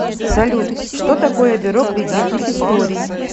салют что такое бюро кредитных историй